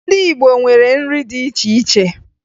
Ndị Igbo nwere nri dị iche iche